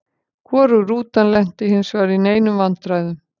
Hvorug rútan lenti hinsvegar í neinum vandræðum.